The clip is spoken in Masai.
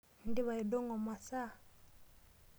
Indipa aidong'o masaa?